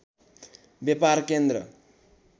व्यापार केन्द्र